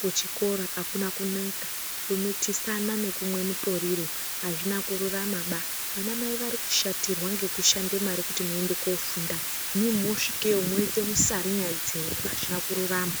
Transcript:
kuchikora akuna kunaka, kumitisana nekumwe mutoriro azvina kururama baa. Vanamai varikushatirwa ngekushande mare kuti muende koofunda imimi moosvikeyo mwoite musarinya dzenyu azvina kururama.